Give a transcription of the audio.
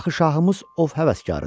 Axı şahımız ov həvəskarıdır.